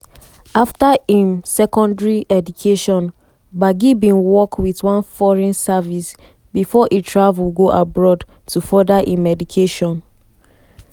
after im secondary education gbagi bin work wit one foreign service bifor e travel go abroad to further im education.